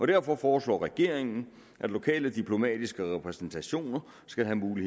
derfor foreslår regeringen at lokale diplomatiske repræsentationer skal have mulighed